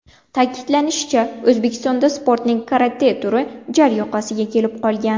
Ta’kidlanishicha, O‘zbekistonda sportning karate turi jar yoqasiga kelib qolgan.